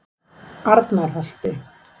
Arnarholti